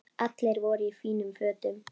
Allir voru í fínum fötum.